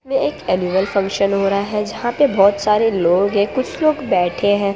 मे एक annual function हो रहा है जहां पे बहोत सारे लोग हैं कुछ लोग बैठे हैं।